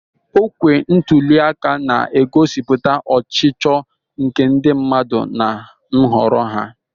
Okwe ntuli aka na-egosipụta ọchịchọ nke ndị mmadụ na nhọrọ ha.